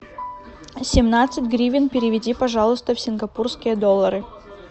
семнадцать гривен переведи пожалуйста в сингапурские доллары